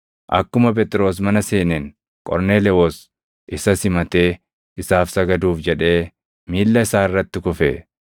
Akkuma Phexros mana seeneen Qorneelewoos isa simatee isaaf sagaduuf jedhee miilla isaa irratti kufe.